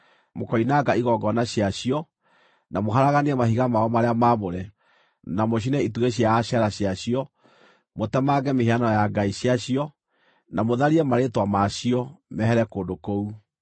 Mũkoinanga igongona ciacio, na mũharaganie mahiga mao marĩa maamũre, na mũcine itugĩ cia Ashera ciacio; mũtemange mĩhianano ya ngai ciao, na mũtharie marĩĩtwa ma cio mehere kũndũ kũu.